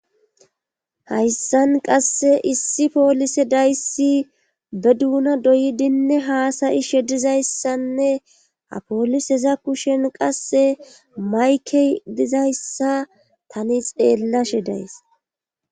hayssan qasse issi poolise dayssi be duuna doyidinne haasayi shedizayssanne apooliseza kushen qasse mayke dizayssa tani xeellashe days